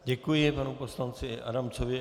Děkuji panu poslanci Adamcovi.